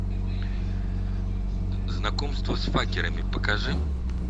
знакомство с факерами покажи